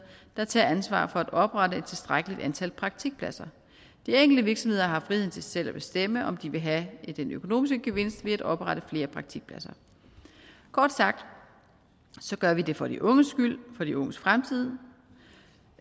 der tager ansvar for at oprette et tilstrækkeligt antal praktikpladser de enkelte virksomheder har friheden til selv at bestemme om de vil have den økonomiske gevinst ved at oprette flere praktikpladser kort sagt gør vi det for de unges skyld for de unges fremtid